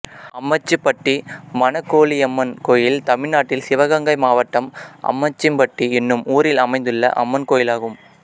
அம்மச்சிப்பட்டி மனகோலியம்மன் கோயில் தமிழ்நாட்டில் சிவகங்கை மாவட்டம் அம்மச்சிப்பட்டி என்னும் ஊரில் அமைந்துள்ள அம்மன் கோயிலாகும்